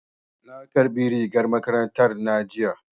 Na ƙarbi rigar makarantar na jiya